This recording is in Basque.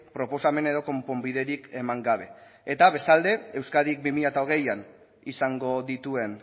proposamen edo konponbiderik eman gabe eta bestalde euskadik bi mila hogeian izango dituen